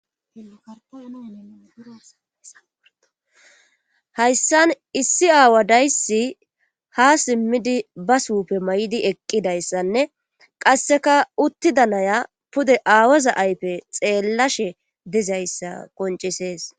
hayssan issi aawa daysi ha simmidi ba supe may7idi eqqidayssanne qasseka utti danaya pude aawoza aype xeellashe dizayssa qoncisees